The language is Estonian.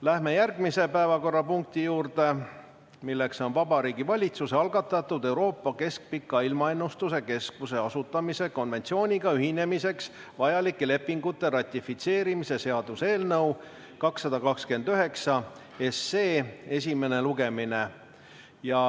Läheme järgmise päevakorrapunkti juurde, milleks on Vabariigi Valitsuse algatatud Euroopa Keskpika Ilmaennustuse Keskuse asutamise konventsiooniga ühinemiseks vajalike lepingute ratifitseerimise seaduse eelnõu 229 esimene lugemine.